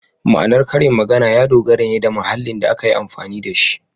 Ma’anar karin magana ya dogara ne da mahallin da aka yi amfani da shi.